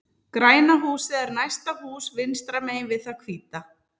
Græna húsið er næsta hús vinstra megin við það hvíta.